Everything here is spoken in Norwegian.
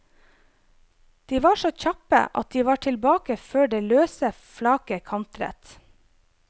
De var så kjappe at de var tilbake før det løse flaket kantret.